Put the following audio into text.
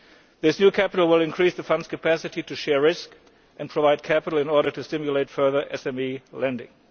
This new capital will increase the Fund's capacity to share risk and provide capital in order to stimulate further SME lending.